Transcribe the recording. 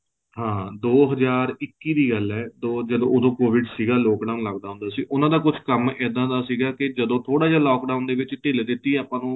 ਹਾਂ ਦੋ ਹਜ਼ਾਰ ਇੱਕੀ ਦੀ ਗੱਲ ਹੈ ਤੋਂ ਜਦੋਂ ਉਦੋਂ covid ਸੀਗਾ lock down ਲਗਦਾ ਹੁੰਦਾ ਸੀ ਉਹਨਾਂ ਦਾ ਕੁੱਛ ਕੰਮ ਏਦਾ ਦਾ ਸੀ ਕੇ ਜਦੋਂ ਥੋੜਾ ਜਾ lock down ਦੇ ਵਿੱਚ ਢਿੱਲ ਦਿਤੀ ਆਪਾਂ ਨੂੰ